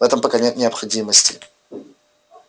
в этом пока нет необходимости